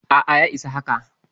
A'a, ya isa haka.